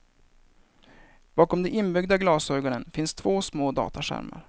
Bakom de inbyggda glasögonen finns två små dataskärmar.